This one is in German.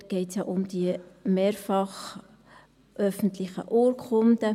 Dort geht es ja um die mehrfach öffentlichen Urkunden.